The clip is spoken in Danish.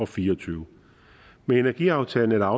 fire og tyve med energiaftalen er